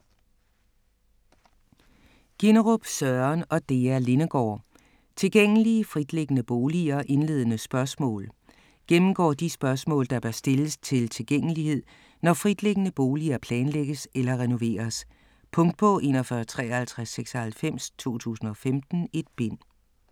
Ginnerup, Søren og Dea Lindegaard: Tilgængelige fritliggende boliger - indledende spørgsmål Gennemgår de spørgsmål, der bør stilles til tilgængelighed, når fritliggende boliger planlægges eller renoveres. Punktbog 415396 2015. 1 bind.